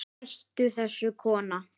Hættu þessu kona!